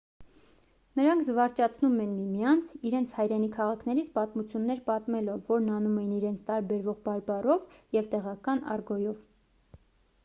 նրանք զվարճացնում էին միմյանց իրենց հայրենի քաղաքներից պատմություններ պատմելով որն անում էին իրենց տարբերվող բարբառով և տեղական արգոյով